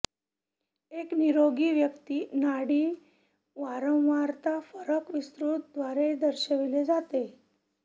एक निरोगी व्यक्ती नाडी वारंवारता फरक विस्तृत द्वारे दर्शविले जाते